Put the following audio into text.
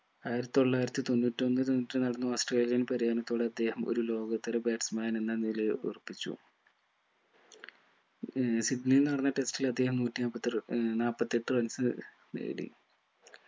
ആയിരത്തി തൊള്ളായിരത്തി തൊണ്ണൂറ്റി ഒന്നിൽ ഓസ്‌ട്രേലിയൻ പര്യടനത്തോടെ അദ്ദേഹം ഒരു ലോകോത്തര batsman എന്ന നിലയെ ഉറപ്പിച്ചു ഏർ സിബ്ലിയിൽ നടന്ന test ൽ അദ്ദേഹം നൂറ്റി മുപ്പത്തർ ഏർ നാപ്പത്തെട്ട്‍ runs നേടി